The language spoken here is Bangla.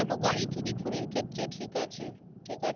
গাড়ি চুরি ফুরির ক্ষেত্রে ঠিক আছে। ঠিক আছে